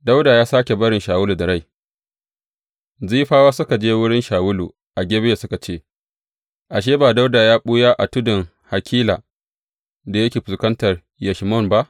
Dawuda ya sāke barin Shawulu da rai Zifawa suka je wurin Shawulu a Gibeya suka ce, Ashe, ba Dawuda ne ya ɓuya a tudun Hakila da yake fuskantar Yeshimon ba?